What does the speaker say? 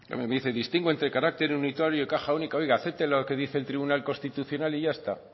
me dice distingo entre carácter unitario y caja única oiga acepte lo que dice el tribunal constitucional y ya está